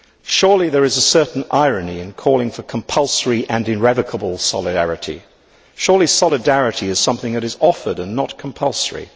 Surely there is a certain irony in calling for compulsory and irrevocable solidarity surely solidarity is something that is offered and not compulsory.